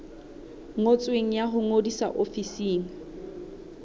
ngotsweng ya ho ngodisa ofising